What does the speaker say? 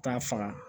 K'a faga